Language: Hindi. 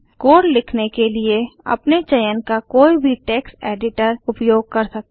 कोड लिखने के लिए अपने चयन का कोई भी टेक्स्ट एडिटर उपयोग कर सकते हैं